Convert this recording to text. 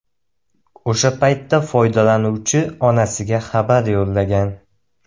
O‘sha paytda foydalanuvchi onasiga xabar yo‘llagan.